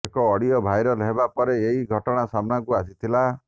ଏକ audio viral ହେବା ପରେ ଏହି ଘଟଣା ସାମ୍ନାକୁ ଆସିଥିଲା